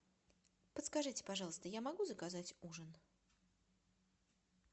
подскажите пожалуйста я могу заказать ужин